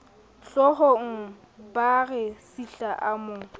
hloohongabaa re sihla a mo